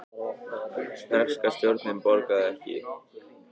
Breska stjórnin borgaði ekki